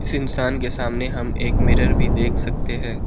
इस इंसान के सामने हम एक मिरर भी देख सकते हैं।